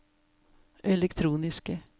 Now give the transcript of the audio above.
elektroniske